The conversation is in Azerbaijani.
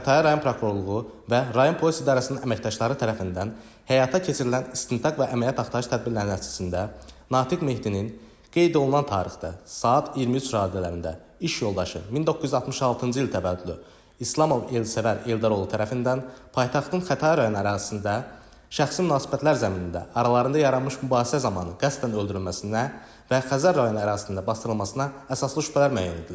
Xətai rayon prokurorluğu və rayon polis idarəsinin əməkdaşları tərəfindən həyata keçirilən istintaq və əməliyyat axtarış tədbirləri nəticəsində Natiq Mehdinin qeyd olunan tarixdə, saat 23 radələrində iş yoldaşı 1966-cı il təvəllüdlü İslamov Elsəvər Eldar oğlu tərəfindən paytaxtın Xətai rayon ərazisində şəxsi münasibətlər zəminində aralarında yaranmış mübahisə zamanı qəsdən öldürülməsinə və Xəzər rayon ərazisində bastırılmasına əsaslı şübhələr müəyyən edilib.